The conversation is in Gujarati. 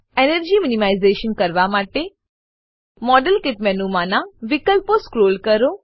એનર્જી મિનિમાઇઝેશન એનર્જી મીનીમાઈઝેશન કરવા માટે મોડેલકીટ મેનુમાનાં વિકલ્પો સ્ક્રોલ કરો